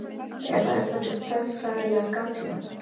eða er þetta stærðfræðilega gallað